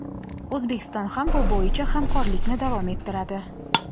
O‘zbekiston ham bu bo‘yicha hamkorlikni davom ettiradi.